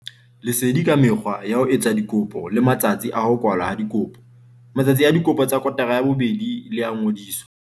Lesedi ka mekgwa ya ho etsa dikopo le matsatsi a ho kwalwa ha dikopo. Matsatsi a dikopo tsa kotara ya bobedi le a ngodiso.